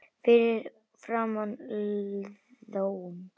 Fyrir framan Iðnó.